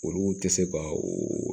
Olu tɛ se ka o